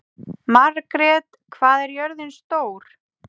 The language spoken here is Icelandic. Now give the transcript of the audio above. Margret, hvað er jörðin stór?